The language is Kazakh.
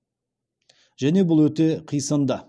және бұл өте қисынды